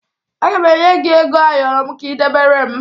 Aga m enye gị ego ayọrọ m ka ị debere m